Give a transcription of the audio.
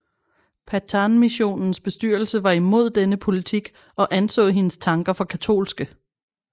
Pathanmissionens bestyrelse var imod denne politik og anså hendes tanker for katolske